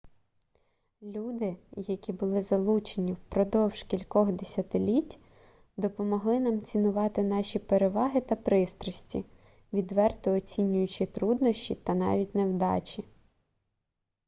люди які були залучені впродовж кількох десятиліть допомогли нам цінувати наші переваги та пристрасті відверто оцінюючи труднощі та навіть невдачі